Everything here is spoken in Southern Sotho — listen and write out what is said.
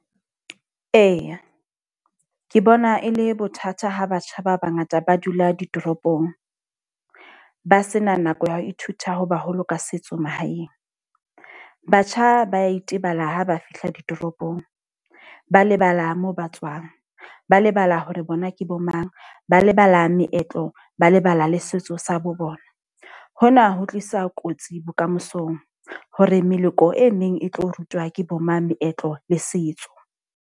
Eya, ke bona e le bothata ha batjha ba bangata ba dula ditoropong, ba sena nako ya ho ithuta ho baholo ka setso mahaeng. Batjha ba itebala ha ba fihla ditoropong, ba lebala moo ba tswang, ba lebala hore bona ke bo mang. Ba lebala meetlo, ba lebala le setso sa bo bona. Hona ho tlisa kotsi bokamosong, hore meloko e meng e tlo rutwa ke bo mang meetlo le setso.